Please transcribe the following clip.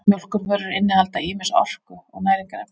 Mjólkurvörur innihalda ýmis orku- og næringarefni.